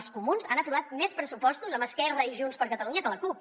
els comuns han aprovat més pressupostos amb esquerra i junts per catalunya que la cup